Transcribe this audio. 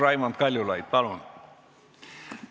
Raimond Kaljulaid, palun!